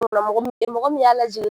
Mɔgɔ min y'a lajigin.